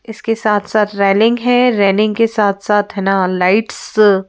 इसके साथ साथ रैलिंग है रैलिंग के साथ साथ है ना लाइट्सस --